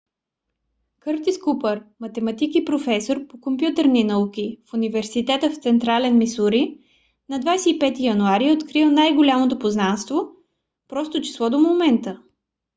къртис купър математик и професор по компютърни науки в университета в централен мисури на 25 януари е открил най-голямото познато просто число до момента